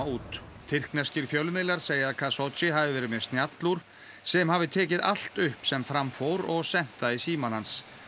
út tyrkneskir fjölmiðlar segja að hafi verið með sem hafi tekið allt upp sem fram fór og sent það í símann hans